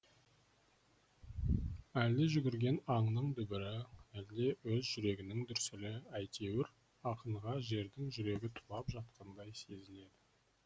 әлде жүгірген аңның дүбірі әлде өз жүрегінің дүрсілі әйтеуір ақынға жердің жүрегі тулап жатқандай сезіледі